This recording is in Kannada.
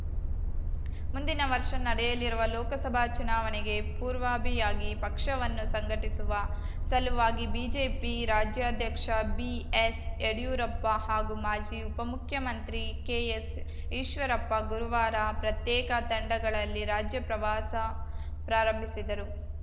ಮುಂದಿನ ವರ್ಷ ನಡೆಯಲಿರುವ ಲೋಕಸಭಾ ಚುನಾವಣೆಗೆ ಪೂರ್ವಭಿಯಾಗಿ ಪಕ್ಷವನ್ನು ಸಂಘಟಿಸುವ ಸಲುವಾಗಿ ಬಿಜೆಪಿ ರಾಜ್ಯಾಧ್ಯಕ್ಷ ಬಿಎಸ್‌ಯಡಿಯೂರಪ್ಪ ಹಾಗೂ ಮಾಜಿ ಉಪಮುಖ್ಯಮಂತ್ರಿ ಕೆಎಸ್‌ಈಶ್ವರಪ್ಪ ಗುರುವಾರ ಪ್ರತ್ಯೇಕ ತಂಡಗಳಲ್ಲಿ ರಾಜ್ಯಪ್ರವಾಸ ಪ್ರಾರಂಭಿಸಿದರು